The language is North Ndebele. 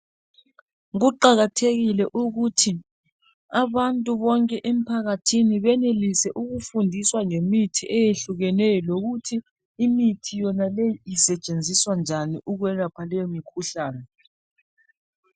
Kuqhakathekile ukuthi abantu bonke emphakathini benelise ukuthi ukufundiswa ngemithi eyehlukeneyo lokuthi imithi yonaleyo isetshenziswa njani ukwelapha leyo mikhuhlane .